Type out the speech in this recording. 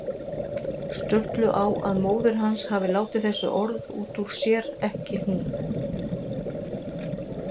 Sturlu á að móðir hans hafi látið þessi orð út úr sér, ekki hún.